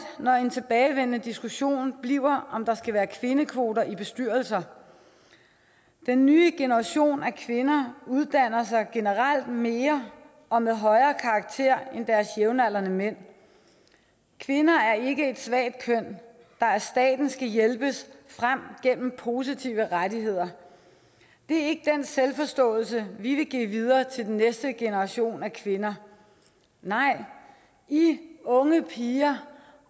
når en tilbagevendende diskussion bliver om der skal være kvindekvoter i bestyrelser den nye generation af kvinder uddanner sig generelt mere og med højere karakterer end deres jævnaldrende mænd kvinder er ikke et svagt køn der af staten skal hjælpes frem gennem positive rettigheder det er ikke den selvforståelse vi vil give videre til den næste generation af kvinder nej i unge piger